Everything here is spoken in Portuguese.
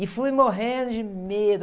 E fui morrendo de medo.